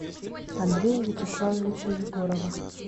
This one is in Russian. андрея вячеславовича егорова